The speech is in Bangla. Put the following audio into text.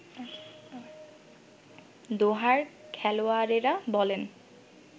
দোহার-খেলোয়াড়েরা বলেন